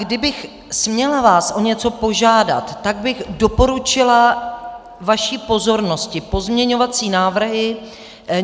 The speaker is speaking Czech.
Kdybych vás směla o něco požádat, tak bych doporučila vaší pozornosti pozměňovací návrhy.